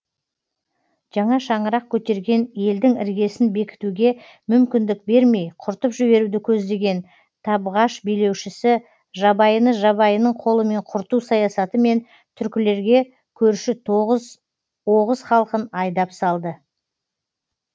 жаңа шаңырақ көтерген елдің іргесін бекітуге мүмкіндік бермей құртып жіберуді көздеген табғаш билеушісі жабайыны жабайының қолымен құрту саясатымен түркілерге көрші тоғыз оғыз халқын айдап салды